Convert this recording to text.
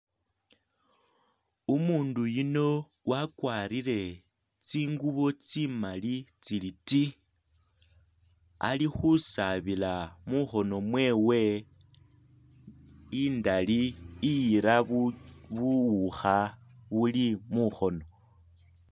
Umundu yuno wakwarile tsingubo tsimali tsili ti ali khusaabila mukhono mwewe indali iyira bu buwukha buli mukhono